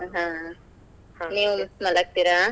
ಹಾ ನೀವ್ ಮಲಗ್ತೀರಾ?